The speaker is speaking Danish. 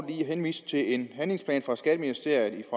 lige henvise til en handlingsplan fra skatteministeriet